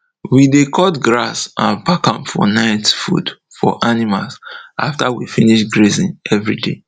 we de cut grass and pack am for night food for animal afta we finish grazing every day